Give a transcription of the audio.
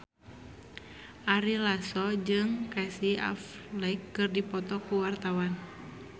Ari Lasso jeung Casey Affleck keur dipoto ku wartawan